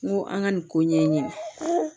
N ko an ka nin ko ɲɛɲini